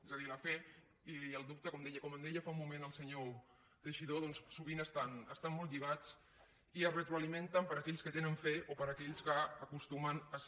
és a dir la fe i el dubte com em deia fa un moment el senyor teixidó doncs sovint estan molt lligats i es retroalimenten per aquells que tenen fe o per aquells que acostumen a ser